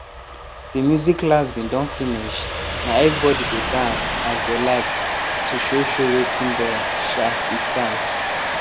de music class bin don finish na everybody dey dance as dey like to show show wetin dey um fit dance